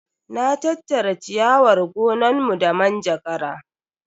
Na tattara ciyawar gonanmu da manjagara.